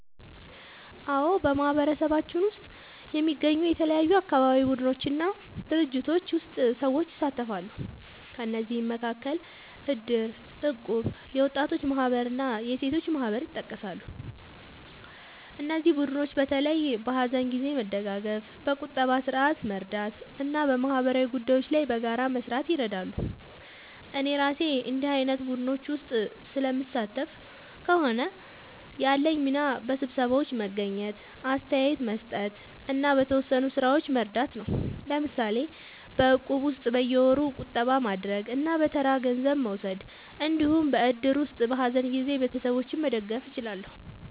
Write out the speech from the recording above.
አዎ፣ በማህበረሰባችን ውስጥ የሚገኙ የተለያዩ አካባቢ ቡድኖች እና ድርጅቶች ውስጥ ሰዎች ይሳተፋሉ። ከእነዚህ መካከል እድር፣ እቁብ፣ የወጣቶች ማህበር እና የሴቶች ማህበር ይጠቀሳሉ። እነዚህ ቡድኖች በተለይ በሀዘን ጊዜ መደጋገፍ፣ በቁጠባ ስርዓት መርዳት እና በማህበራዊ ጉዳዮች ላይ በጋራ መስራት ይረዳሉ። እኔ እራሴ በእንዲህ ዓይነት ቡድኖች ውስጥ ስለምሳተፍ ከሆነ፣ ያለኝ ሚና በስብሰባዎች መገኘት፣ አስተያየት መስጠት እና በተወሰኑ ሥራዎች መርዳት ነው። ለምሳሌ በእቁብ ውስጥ በየወሩ ቁጠባ ማድረግ እና በተራ ገንዘብ መውሰድ እንዲሁም በእድር ውስጥ በሀዘን ጊዜ ቤተሰቦችን መደገፍ እችላለሁ።